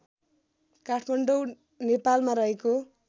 काठमाडौँ नेपालमा रहेको